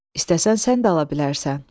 İstəsən sən də ala bilərsən.